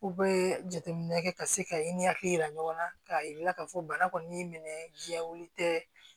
U bɛ jateminɛ kɛ ka se ka i ni hakili yira ɲɔgɔn na k'a yir'u la k'a fɔ bana kɔni minɛ jɛlen tɛ